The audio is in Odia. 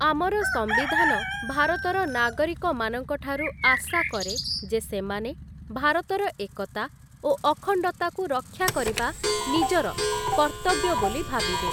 ଆମର ସମ୍ବିଧାନ ଭାରତର ନାଗରିକମାନଙ୍କଠାରୁ ଆଶାକରେ, ଯେ ସେମାନେ ଭାରତର ଏକତା ଓ ଅଖଣ୍ଡତାକୁ ରକ୍ଷାକରିବା ନିଜର କର୍ତ୍ତବ୍ୟ ବୋଲି ଭାବିବେ ।